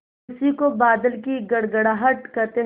उसी को बादलों की गड़गड़ाहट कहते हैं